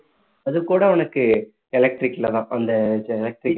அது கூட உனக்கு electric லதான் அந்த இது electric